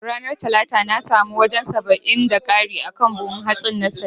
Ranar talata na samu wajan saba'in da kari akan buhun hatsin na saya